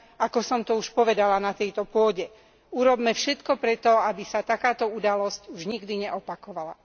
Ako som to už povedala na tejto pôde, urobme všetko preto, aby sa takáto udalosť už nikdy neopakovala.